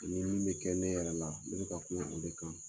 Ani min bɛ kɛ ne yɛrɛ la ne bɛ ka kuma o de kan